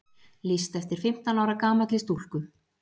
Lýst eftir fimmtán ára gamalli stúlku